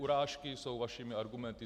Urážky jsou vašimi argumenty.